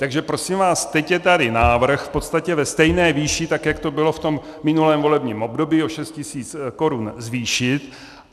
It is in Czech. Takže prosím vás, teď je tady návrh v podstatě ve stejné výši, tak jak to bylo v tom minulém volebním období, o 6 tisíc korun zvýšit.